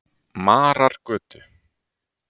Marargötu